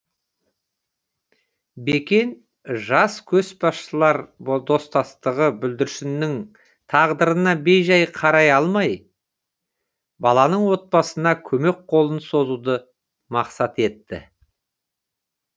бекен жас көшбасшылар достастығы бүлдіршіннің тағдырына бей жай қарай алмай баланың отбасына көмек қолын созуды мақсат етті